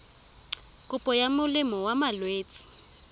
kopo ya molemo wa malwetse